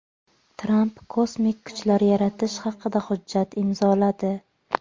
Tramp kosmik kuchlar yaratish haqida hujjat imzoladi.